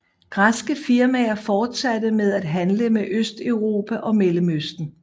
Græske firmaer fortsatte med at handle med Østeuropa og Mellemøsten